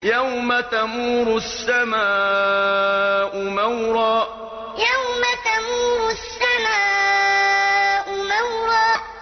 يَوْمَ تَمُورُ السَّمَاءُ مَوْرًا يَوْمَ تَمُورُ السَّمَاءُ مَوْرًا